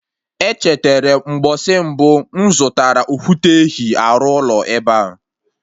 Echeterem mgbọsị mbụ mụ zụtara okwute ehi arụ ụlọ ebea